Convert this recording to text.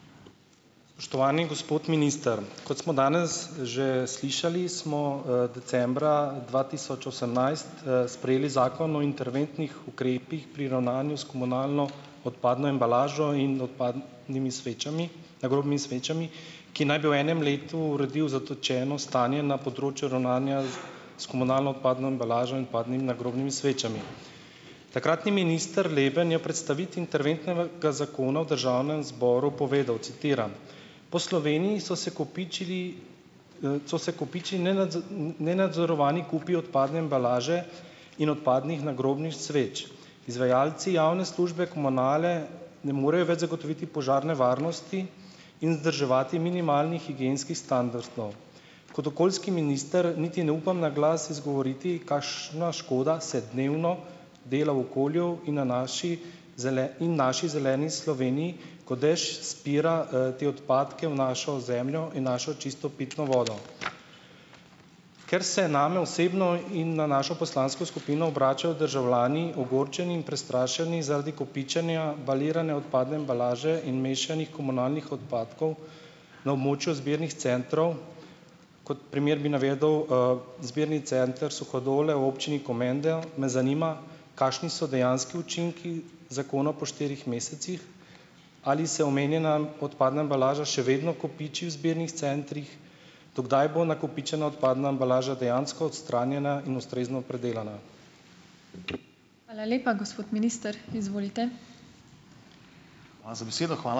Spoštovani gospod minister! Kot smo danes že slišali, smo, decembra dva tisoč osemnajst, sprejeli Zakon o interventnih ukrepih pri ravnanju s komunalno odpadno embalažo in odpadnimi svečami, nagrobnimi svečami, ki naj bi v enem letu uredil zatečeno stanje na področju ravnanja s komunalno odpadno embalažo in odpadnimi nagrobnimi svečami. Takratni minister Leben je v predstavitvi interventnega zakona v državnem zboru povedal, citiram: "Po Sloveniji so se kopičili, so se kopičili nenadzorovani kupi odpadne embalaže in odpadnih nagrobnih sveč. Izvajalci javne službe komunale ne morejo več zagotoviti požarne varnosti in vzdrževati minimalnih higienskih standardov. Kot okoljski minister niti ne upam na glas izgovoriti, kakšna škoda se dnevno dela okolju in na naši in naši zeleni Sloveniji, ko dež spira, te odpadke v našo zemljo in našo čisto pitno vodo." Ker se je name osebno in na našo poslansko skupino obračajo državljani, ogorčeni in prestrašeni zaradi kopičenja balirane odpadne embalaže in mešanih komunalnih odpadkov na območju zbirnih centrov. Kot primer bi navedel, zbirni center Suhadole v občini Komenda, me zanima kakšni so dejanski učinki zakona po štirih mesecih? Ali se omenjena odpadna embalaža še vedno kopiči v zbirnih centrih, do kdaj bo nakopičena odpadna embalaža dejansko odstranjena in ustrezno predelana?